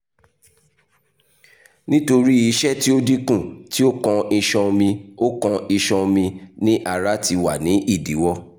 nitori iṣẹ ti o dinku ti okan iṣan omi okan iṣan omi ni ara ti wa ni idiwọ